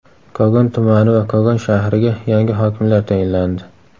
Kogon tumani va Kogon shahriga yangi hokimlar tayinlandi.